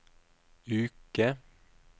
uke